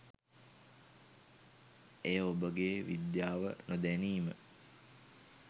එය ඔබගේ විද්‍යාව නොදැනීම